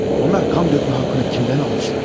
Onlar kan dökme hakkını kimden almışlar?